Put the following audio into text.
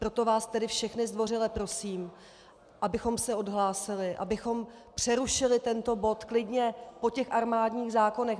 Proto vás tedy všechny zdvořile prosím, abychom se odhlásili, abychom přerušili tento bod klidně po těch armádních zákonech.